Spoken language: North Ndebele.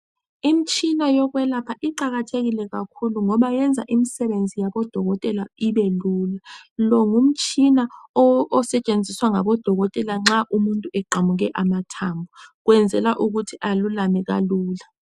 Imtshina yokwelapha iqakathekile kakhulu ngoba yenza imsbebenzi yabodokotela ibe lula. Lo ngumtshina osetshenziswa ngabodokotela nxa umuntu eqamuke amathambo. Kwenzela ukuthi alulame kalula.